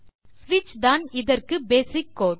ஸ்விட்ச் தான் இதற்கு பேசிக் கோடு